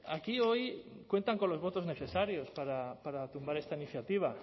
aquí hoy cuentan con los votos necesarios para tumbar esta iniciativa